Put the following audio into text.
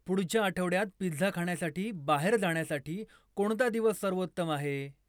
पुढच्या आठवड्यात पिझ्झा खाण्यासाठी बाहेर जाण्यासाठी कोणता दिवस सर्वोत्तम आहे